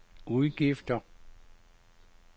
udgifter